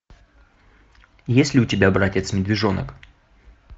есть ли у тебя братец медвежонок